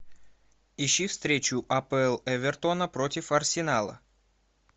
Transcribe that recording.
ищи встречу апл эвертона против арсенала